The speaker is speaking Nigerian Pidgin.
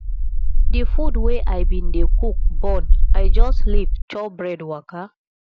di food wey i bin dey cook burn i just leave chop bread waka